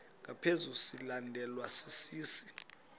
ngaphezu silandelwa sisi